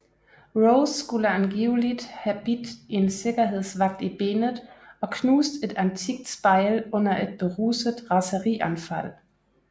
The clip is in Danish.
Rose skulle angiveligt have bidt en sikkerhedsvagt i benet og knust et antikt spejl under et beruset raserianfald